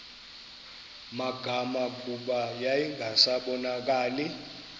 magama kuba yayingasabonakali